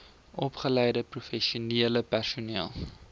opgeleide professionele personeel